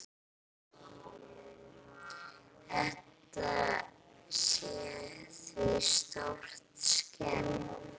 Þetta sé því stórt skref.